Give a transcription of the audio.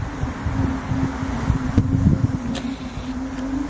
और साइड में यहां पे बेंचेस लगे हुए हैं दो बैठने के लिए--